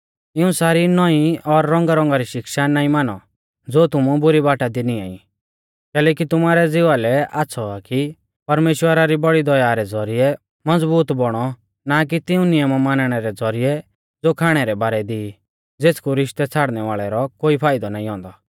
इऊं सारी नौईं और रौंगारौंगा री शिक्षा नाईं मानौ ज़ो तुमु बुरी बाटा दी निंया ई कैलैकि तुमारै ज़िवा लै आच़्छ़ौ आ कि परमेश्‍वरा री बौड़ी दया रै ज़ौरिऐ मज़बूत बौणौ ना कि तिऊं नियम मानणै रै ज़ौरिऐ ज़ो खाणै रै बारै दी ई ज़ेथकु रिश्तै छ़ाड़नै वाल़ै रौ कोई फाइदौ नाईं औन्दौ